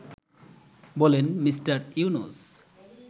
বলেন মিঃ ইউনুস